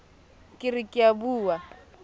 ke re ke a bua